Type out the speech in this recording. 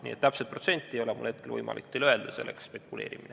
Nii et täpset protsenti ei ole mul hetkel võimalik teile öelda, sest see oleks spekuleerimine.